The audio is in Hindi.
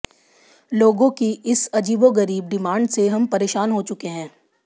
लोगों की इस अजीबोगरीब डिमांड से हम परेशान हो चुके हैं